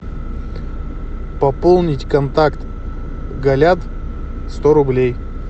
пополнить контакт галят сто рублей